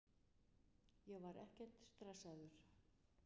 Ég var ekkert stressaður.